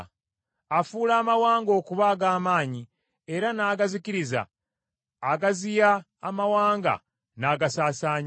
Afuula amawanga okuba ag’amaanyi, era n’agazikiriza; agaziya amawanga n’agasaasaanya.